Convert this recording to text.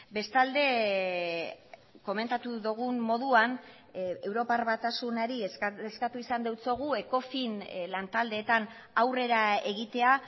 bestalde komentatu dugun moduan europar batasunari eskatu izan diogu ecofin lan taldeetan aurrera egitea